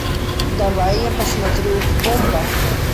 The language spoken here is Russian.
давай я посмотрю бомба